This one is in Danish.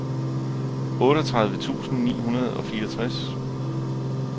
otteogtredive tusind ni hundrede og fireogtres